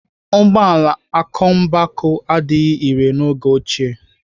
Ụgbọala akọmmụbaaku adịghị irè n'oge ochie.